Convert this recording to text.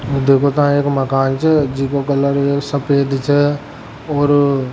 देखो ता एक मकान छे जिको कलर सफेद छ और --